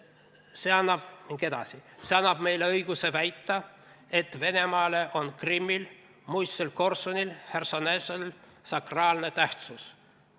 "See annab meile õiguse väita, et Venemaale on Krimmil, muistsel Korsunil, Chersonesosel sakraalne tähtsus.